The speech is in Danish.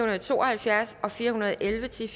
og to og halvfjerds og fire hundrede og elleve til